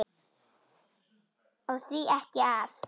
Og því ekki það?